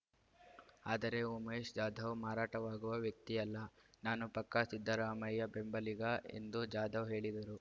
ಆದರೆ ಉಮೇಶ್‌ ಜಾಧವ್‌ ಮಾರಾಟವಾಗುವ ವ್ಯಕ್ತಿಯಲ್ಲ ನಾನು ಪಕ್ಕಾ ಸಿದ್ದರಾಮಯ್ಯ ಬೆಂಬಲಿಗ ಎಂದು ಜಾಧವ್‌ ಹೇಳಿದರು